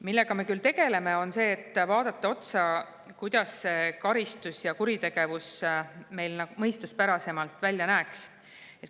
Millega me tegeleme, on see, et vaatame otsa, kuidas karistus ja kuritegevus meil mõistuspärasemalt välja näeks.